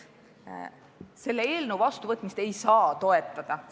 Selle eelnõu vastuvõtmist ei saa toetada.